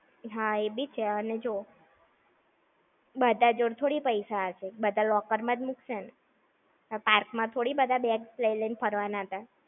હા એ બી છે અને જો બધા જોડે થોડી પૈસા હશે. બધા locker માં જ મુકશે ને! Park માં થોડી બધા bags લઇ-લઇ ને ફરવાના હતા.